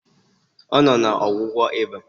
Ọ nọ na ọgwụgwọ ịba